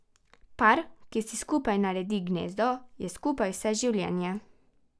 Par, ki si skupaj naredi gnezdo, je skupaj vse življenje.